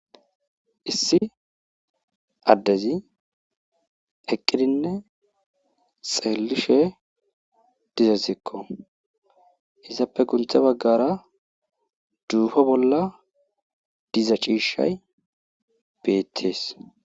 issi addezi eqqidinne xeellishe dizazikko izappe gunthe baggara duufo bolla diza ciishshay beettees